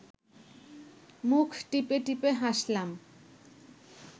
মুখ টিপে টিপে হাসলাম